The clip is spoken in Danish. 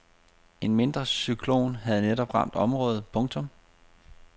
En mindre cyklon havde netop ramt området. punktum